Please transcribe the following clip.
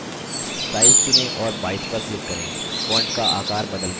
size चुनें और 22 पर click करें